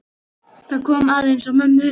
Það kom aðeins á mömmu.